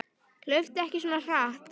Hlauptu ekki svona hratt.